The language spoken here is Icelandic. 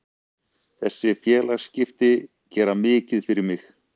Þessi félagaskipti gera mikið fyrir mig.